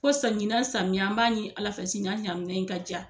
Kosɔn ɲinan samiya an b'a ɲi Ala fɛ si ɲan ɲamiya in ka diya.